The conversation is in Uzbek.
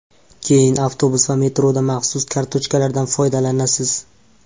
Keyin avtobus va metroda maxsus kartochkalardan foydalanasiz.